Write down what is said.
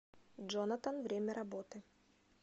джонатан время работы